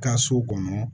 Ka so kɔnɔ